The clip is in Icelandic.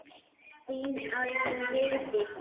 Þín Arna Vigdís.